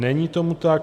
Není tomu tak.